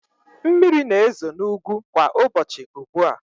Mmiri na-ezo n'ugwu kwa ụbọchị ugbu a.